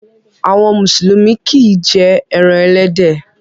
Àwọn Mùsùlùmí kì í jẹ ẹran ẹlẹ́dẹ̀